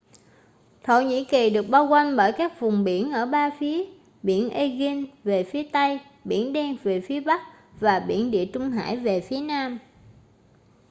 thổ nhĩ kỳ được bao quanh bởi các vùng biển ở ba phía biển aegean về phía tây biển đen về phía bắc và biển địa trung hải về phía nam